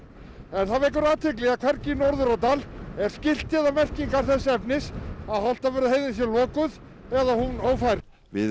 en það vekur athygli að hvergi í Norðurárdal er skilti eða merkingar þess efnis að Holtavörðuheiðin sé lokuð eða hún ófær við